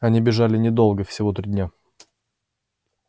они бежали недолго всего дня три